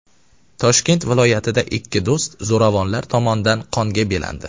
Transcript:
Toshkent viloyatida ikki do‘st zo‘ravonlar tomonidan qonga belandi.